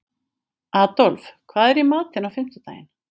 Adolf, hvað er í matinn á fimmtudaginn?